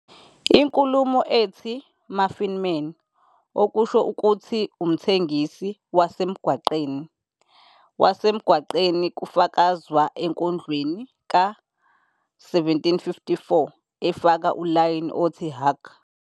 Inkulumo ethi "muffin-man", okusho ukuthi umthengisi wasemgwaqeni wasemgwaqeni, kufakazwa enkondlweni ka-1754, efaka ulayini othi- "Hark!